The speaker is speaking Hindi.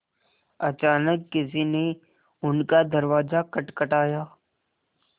अचानक किसी ने उनका दरवाज़ा खटखटाया